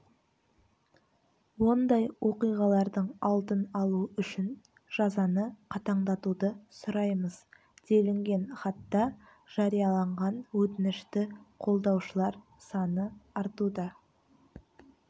ондай оқиғалардың алдын алу үшін жазаны қатаңдатуды сұраймыз делінген хатта жарияланған өтінішті қолдаушылар саны артуда